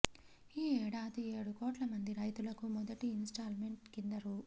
ఈ ఏడాది ఏడు కోట్ల మంది రైతులకు మొదటి ఇన్స్టాల్మెంట్ కింద రూ